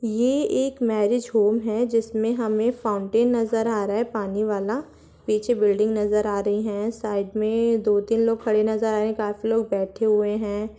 ये एक marriage home है जिसमें हमें फाउन्टेन नजर आ रहा है पानी वाला पीछे बिल्डिंग नजर आ रही है साइड मे दो तीन लोग खड़े नजर आ रहे काफी लोग बैठे हुए हैं।